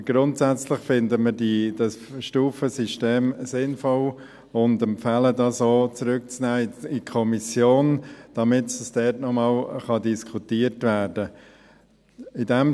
Aber grundsätzlich finden wir das Stufensystem sinnvoll und empfehlen auch, dieses in die Kommission zurückzunehmen, damit es dort noch einmal diskutiert werden kann.